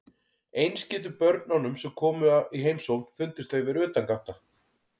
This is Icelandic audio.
Eins getur börnunum sem koma í heimsókn fundist þau vera utangátta.